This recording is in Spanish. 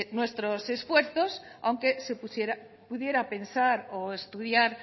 nuestros esfuerzos aunque se pudiera pensar o estudiar